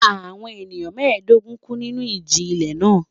Àwọn ènìyàn mẹ́ẹ̀dógún kú nínú ìjì-ilẹ̀ náà.